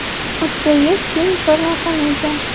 у тебя есть фильм черная комедия